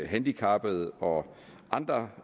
handicappede og andre